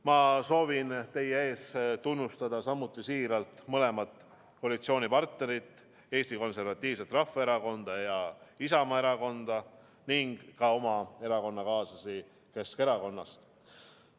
Ma soovin teie ees samuti tunnustada siiralt mõlemat koalitsioonipartnerit – Eesti Konservatiivset Rahvaerakonda ja Isamaa Erakonda – ning ka oma erakonnakaaslasi Keskerakonnast.